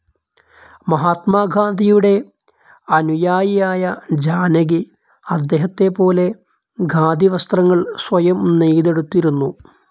മഹാത്മാഗാന്ധിയുടെ അനുയായിയായ ജാനകി അദ്ദേഹതെപോലെ ഖാദി വസ്ത്രങ്ങൾ സ്വയം നെയ്തെടുത്തിരുന്നു.